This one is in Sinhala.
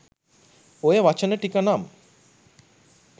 ඔය වචන ටික නම්